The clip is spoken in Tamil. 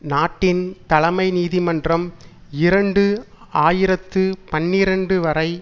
நாட்டின் தலைமை நீதிமன்றம் இரண்டு ஆயிரத்து பனிரண்டு வரை